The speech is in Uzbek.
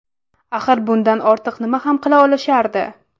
Axir bundan ortiq nima ham qila olishardi?